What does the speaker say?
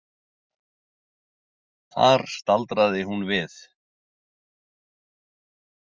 Þar staldraði hún við.